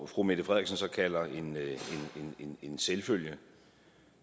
fru mette frederiksen så kalder en selvfølge